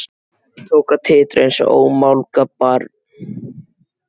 Tók að titra einsog ómálga barn.